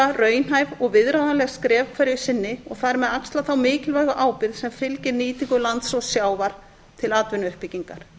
raunhæf og viðráðanleg skref hverju sinni og þar með axla þá mikilvægu ábyrgð sem fylgir nýtingu lands og sjávar til atvinnuuppbyggingar